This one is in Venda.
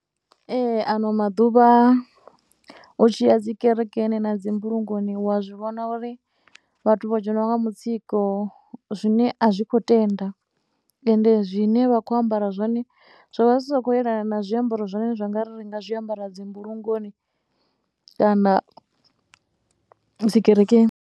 Ee, ano maḓuvha u tshi ya dzi kerekeni na dzi mbulungoni wa zwi vhona uri vhathu vho dzheniwa nga mutsiko zwine a zwi khou tenda. Ende zwine vha vha khou ambara zwone zwo vha zwi si khou yelana na zwiambaro zwine zwa nga ri nga zwiambara dzi mbulungoni kana dzi kerekeni.